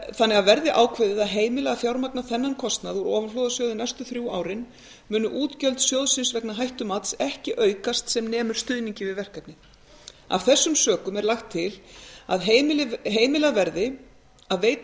þannig að verði ákveðið að heimila þennan kostnað úr ofanflóðasjóði næstu þrjú árin munu útgjöld sjóðsins vegna hættumats ekki aukast sem nemur stuðningi við verkefnið af þessum sökum er lagt til að heimilað verði að veita